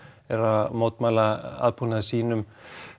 eru að mótmæla aðbúnaði sínum